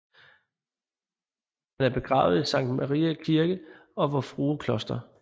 Han er begravet i Sankt Mariæ Kirke og Vor Frue Kloster